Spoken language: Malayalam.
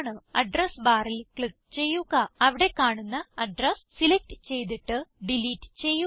അഡ്രസ് barൽ ക്ലിക്ക് ചെയ്യുക അവിടെ കാണുന്ന അഡ്രസ് സിലക്റ്റ് ചെയ്തിട്ട് ഡിലീറ്റ് ചെയ്യുക